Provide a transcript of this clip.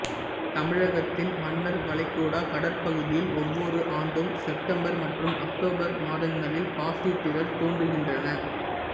தமிழகத்தின் மன்னார் வளைகுடா கடற்பகுதியில் ஒவ்வொரு ஆண்டும் செப்டம்பர் மற்றும் அக்டோபர் மாதங்களில் பாசித்திரள் தோன்றுகிறன்றன